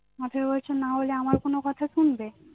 আঠেরো বছর নাহলে আমার কোনো কথা শুনবে